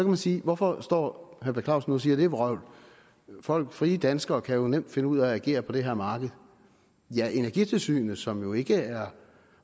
man sige hvorfor står herre per clausen nu og siger det vrøvl frie danskere kan jo nemt finde ud af at agere på det her marked ja energitilsynet som jo ikke er